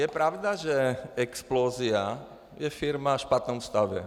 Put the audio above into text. Je pravda, že Explosia je firma ve špatném stavu.